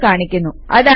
ഒരു നമ്പർ കാണിക്കുന്നു